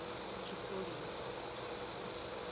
tshipholisa